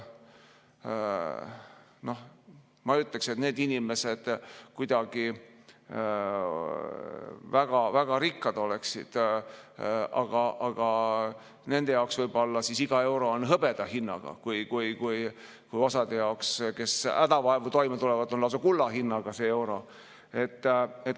Noh, ma ei ütleks, et need inimesed kuidagi väga rikkad oleksid, aga nende jaoks võib olla iga euro hõbeda hinnaga, kui osa jaoks, kes hädavaevu toime tulevad, on see euro lausa kulla hinnaga.